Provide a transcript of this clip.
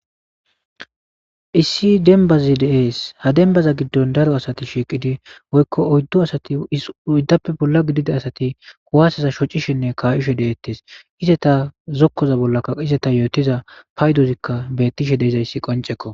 issi denbazi dees ha denbaza giddon daro asati shiiqidi woykko oyddu asati soyddappe bolla gidida asati kuwaseza shocishenne kaayishe deettes ize ta zokkoza bollakka ize ta yootiza paydozikka bettishe deezayssi qoncekko